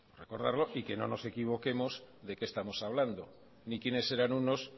recordarlo y que no nos equivoquemos de qué estamos hablando ni quienes eran unos